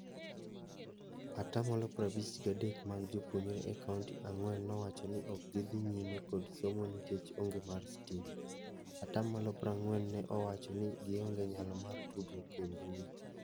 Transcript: Atamalo prabich gadek mag jopuonjnre e kaunti ang'wen nowacho ni okgidhi nyime kod somo nikec onge mar stima. Atamalo prang'wen ne owacho ni gionge nyalo mar tudruok e mbui.